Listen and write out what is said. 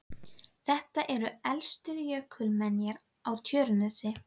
Þetta eru elstu jökulmenjar á Tjörnesi.